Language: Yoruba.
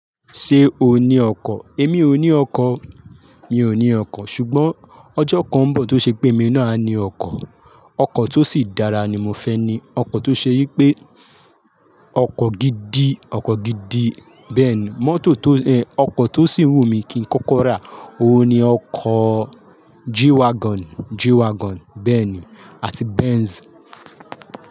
Ṣé o ní ọkọ̀? Èmi ò ní ọkọ̀, mi ò ní ọkọ̀. Ṣùgbọ́n ọjọ́ kan ń bọ̀ tó ṣe pé èmi náà á ní ọkọ̀. Ọkọ̀ tó sì dára ni mo fẹ́ ní, ọkọ̀ tó ṣe yí pé ọkọ̀ gidi, ọkọ̀ gidi bẹ́ẹ̀ni mọ́tò tó ẹ, ọkọ̀ tó sì wù mí kí ń kókó rà. Oun ni ọkọ̀ G-wagon, G-wagon bẹ́ẹ̀ni àti Benz.